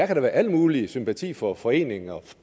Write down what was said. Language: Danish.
kan da være al mulig sympati for foreninger og